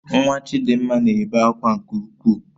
Nwa Chidimma na-ebe akwa nke ukwuu